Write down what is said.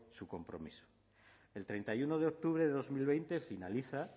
su compromiso el treinta y uno de octubre de dos mil veinte finaliza